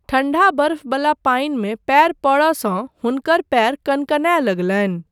ठण्डा बरफ़वला पानिमे पयर पड़यसँ हुनकर पयर कनकनाय लगलनि।